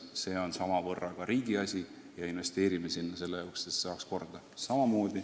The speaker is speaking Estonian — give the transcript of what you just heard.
Seegi on samavõrra riigi asi ja me investeerime ka sinna, et saaks staadioni korda.